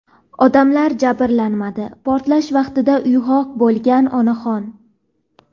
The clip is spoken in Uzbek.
odamlar jabrlanmadi – portlash vaqtida uyg‘oq bo‘lgan onaxon.